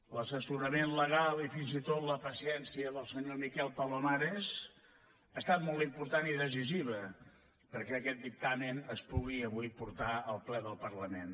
l’assessorament legal i fins i tot la paciència del senyor miquel palomares han estat molt importants i decisius perquè aquest dictamen es pugui avui portar al ple del parlament